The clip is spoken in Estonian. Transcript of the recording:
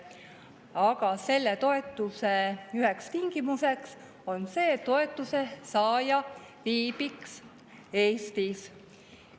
Aga selle toetuse üheks tingimuseks on see, et toetuse saaja viibib Eestis.